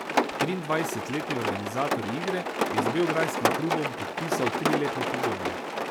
Triindvajsetletni organizator igre je z beograjskim klubom podpisal triletno pogodbo.